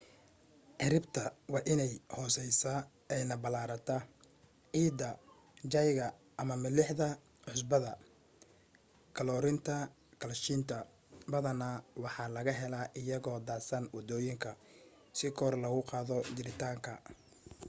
ciribta waa in ay hoseysa ayna balarata. ciida jayga ama milixda/cusbada kaloriinta kaalshiyta badana waxaa laga hela iyagoo daadsan wadooyinka si kor lagu qaado jaritaanka